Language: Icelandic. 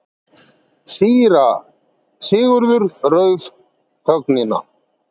Síra Sigurður rauf þögnina.